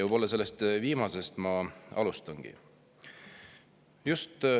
Võib-olla sellest viimasest ma alustangi.